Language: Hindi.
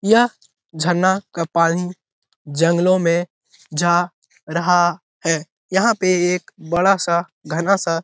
यह झरना का पानी जंगलों में जा रहा है यहाँ पे एक बड़ा-सा घना सा --